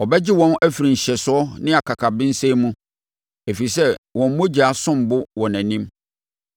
Ɔbɛgye wɔn afiri nhyɛsoɔ ne akakabensɛm mu, ɛfiri sɛ wɔn mogya som bo wɔ nʼanim.